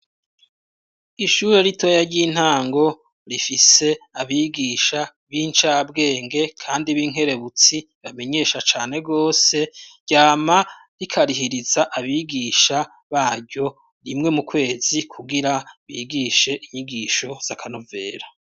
Ishure ritoya ry'intango rifise abigisha b'incabwenge kandi b'inkerebutsi bamenyesha cane rwose ryama rikarihiriza abagisha baryo rimwe mu kwezi kugira bigishe inyigisho z'akanovera.